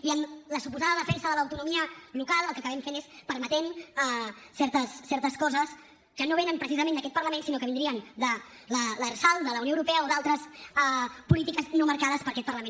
i en la suposada defensa de l’autonomia local el que acabem fent és permetent certes coses que no venen precisament d’aquest parlament sinó que vindrien de l’lrsal de la unió europea o d’altres polítiques no marcades per aquest parlament